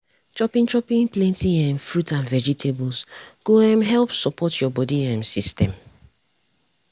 i dey chop yoghurt from time to time for medicine make my body body dey well.